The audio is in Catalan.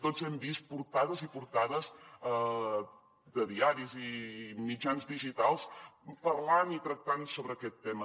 tots hem vist portades i portades de diaris i mitjans digitals parlant i tractant sobre aquest tema